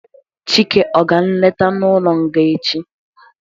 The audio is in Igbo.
Chike ọ ga nleta n'ụlọ nga echi?